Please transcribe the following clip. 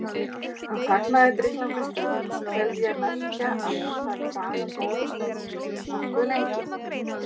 Hann þagði drykklanga stund tel ég merkja að hann hafi þagað góða stund, nokkuð lengi.